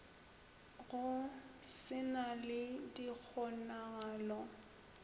go se na le dikgonagalo